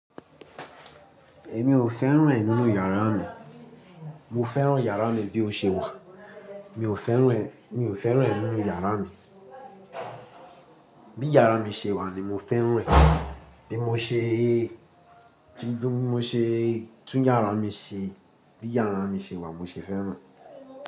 Èmi ò fẹ́ràn ẹ̀ nínú yàrá mi. Mo fẹ́ràn yàrá mi bí ó ṣe wà. Mi ò fẹ́ràn ẹ̀, mi ò fẹ́ràn ẹ̀ nínú yàrá mi. Bí yàrá mi ṣe wà ni mo fẹ́ràn ẹ̀. Bí mo ṣe e, tí bí mo ṣe, tún yàrá mi ṣe, bí yàrá mi ṣe wà mo ṣe fẹ́ràn ẹ̀.